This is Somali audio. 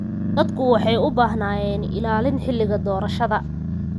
Dadku waxay u baahnaayeen ilaalin xilliga doorashada.